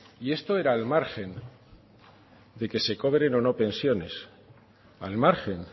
y esto era al margen de que se cobren o no pensiones al margen